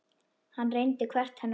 Hann reyndi hvert hennar orð.